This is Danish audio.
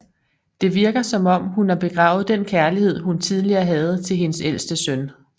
Det virker som om hun har begravet den kærlighed hun tidligere havde til hendes ælste søn